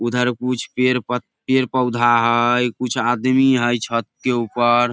उधर कुछ पेड़ पत पेड़-पौधा हई कुछ आदमी हई छत के ऊपर।